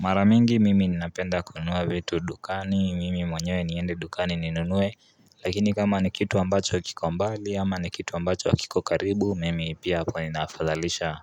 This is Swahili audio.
Mara mingi mimi ninapenda kununua vitu dukani mimi mwenyewe niende dukani ninunuwe Lakini kama ni kitu ambacho kiko mbali ama ni kitu ambacho akiko karibu mimi pia hapo ninafadhalisha